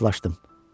Razılaşdım.